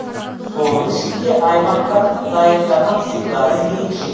соның ішінде аймақтардың дайындаған сыйлары ерекше